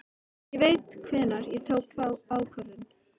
Ég veit hvenær ég tók þá ákvörðun.